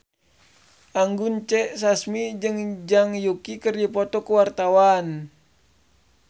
Anggun C. Sasmi jeung Zhang Yuqi keur dipoto ku wartawan